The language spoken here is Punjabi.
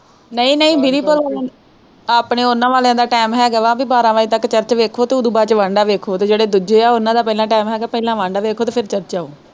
ਨਹੀਂ ਨਹੀਂ ਆਪਣੋ ਉਹਨਾਂ ਵਾਲਿਆਂ ਦਾ time ਹੈ ਗਾ ਵਾ ਵੀ ਬਾਰਾਂਹ ਵਜੇ ਤੱਕ church ਵੇਖੋ ਤੇ ਉਸ ਤੋਂ ਬਾਅਦ ਵਾਂਡਾ ਵੇਖੋ ਤੇ ਜਿਹੜੇ ਦੂਜੇ ਹੈ ਉਹਨਾਂ ਦਾ ਪਹਿਲਾਂ time ਹੈ ਗਾ ਪਹਿਲਾਂ ਵਾਂਡਾ ਵੇਖੋ ਤੇ ਫਿਰ church ਆਉ।